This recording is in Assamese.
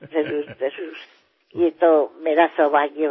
আমি তাতো আনন্দ বিতৰণ কৰিব লাগিব যত ইয়াৰ অভাৱ আছে আৰু এয়াই আমাৰ স্বভাৱো